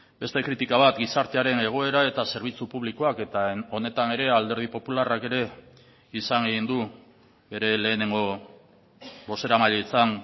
beste kritika bat gizartearen egoera eta zerbitzu publikoak eta honetan ere alderdi popularrak ere izan egin du bere lehenengo bozeramailetzan